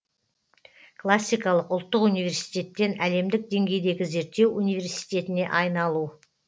классикалық ұлттық университеттен әлемдік деңгейдегі зерттеу университетіне айналу